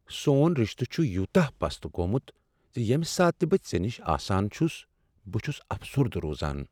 سون رِشتہٕ چُھ یوتاہ پست گومُت زِ ییمِہ ساتہٕ بہٕ ژے نِش آسان چُھس بہٕ چُھس افسردہ روزان۔